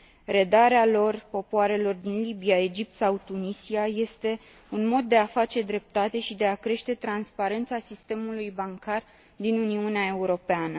Redarea lor popoarelor din Libia, Egipt sau Tunisia este un mod de a face dreptate și de a crește transparența sistemului bancar din Uniunea Europeană.